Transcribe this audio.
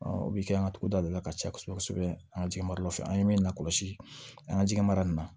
o bɛ kɛ an ka togoda de la ka caya kosɛbɛ kosɛbɛ an ka jɛgɛ mara an ye min na kɔlɔsi an ka jiginni mara nin na